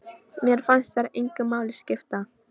Mér fannst þær engu máli skipta.